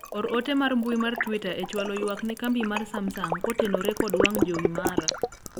or ote mar mbui mar twita e chwalo ywak ne kambi mar Samsung kotenore kod wang' jowi mara